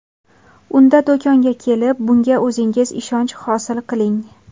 Unda do‘konga kelib, bunga o‘zingiz ishonch hosil qiling!